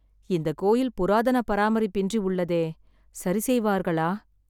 இந்த கோயில் புராதன பராமரிப்பின்றி உள்ளதே. சரி செய்வார்களா?